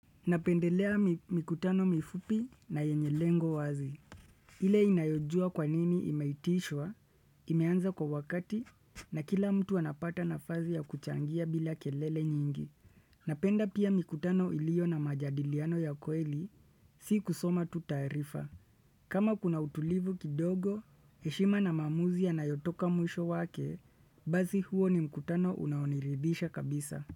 Napendelea mikutano mifupi na yenye lengo wazi. Ile inayojua kwa nini imeitishwa, imeanza kwa wakati na kila mtu anapata nafasi ya kuchangia bila kelele nyingi. Napenda pia mikutano iliyo na majadiliano ya kweli, si kusoma tu taarifa. Kama kuna utulivu kidogo, heshima na maamuzi yanayotoka mwisho wake, basi huo ni mikutano unaoniridhisha kabisa.